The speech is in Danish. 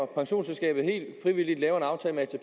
pensionsselskabet helt frivilligt laver en aftale med